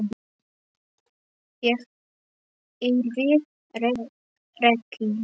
Ég yrði rekin.